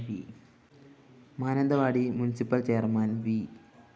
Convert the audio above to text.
Mananthavady municipal chairman V